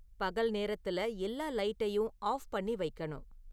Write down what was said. பகல் நேரத்துல எல்லா லைட்டையும் ஆஃப் பண்ணி வைக்கணும்